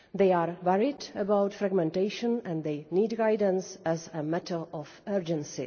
They are worried about fragmentation, and they need guidance as a matter of urgency.